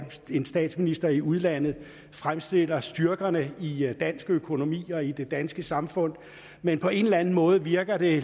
en statsminister i udlandet fremstiller styrkerne i dansk økonomi og i det danske samfund men på en eller anden måde virker det